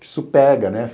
Que isso pega, né?